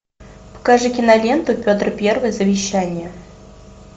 покажи киноленту петр первый завещание